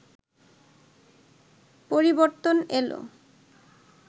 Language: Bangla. পরিবর্তন এলো